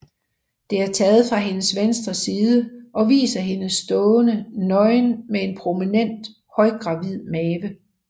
Det er taget fra hendes venstre side og viser hende stående nøgen med en prominent højgravid mave